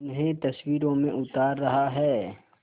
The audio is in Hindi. उन्हें तस्वीरों में उतार रहा है